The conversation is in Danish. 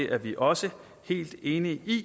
er vi også helt enige i